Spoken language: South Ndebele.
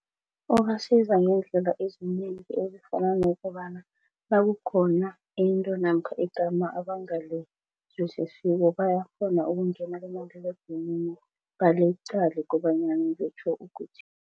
Ubasiza ngendlela ezinengi ezifana nokobana nakukhona into namkha igama abangalizwisisiko bayakghona ukungena kumaliledinini baliqale kobanyana litjho ukuthini.